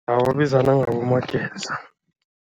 Babizana ngaboMageza.